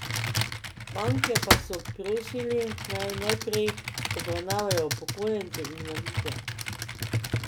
Banke pa so prosili, naj najprej obravnavajo upokojence in invalide.